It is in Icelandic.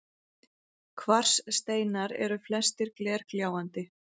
Kvarssteinar eru flestir glergljáandi